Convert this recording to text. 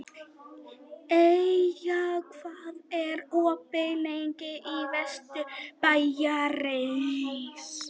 Eyja, hvað er opið lengi í Vesturbæjarís?